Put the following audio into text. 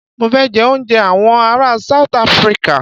Mọ fẹ jẹ òúnjẹ awọn ará South Africa.